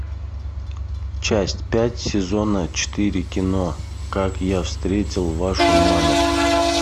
часть пять сезона четыре кино как я встретил вашу маму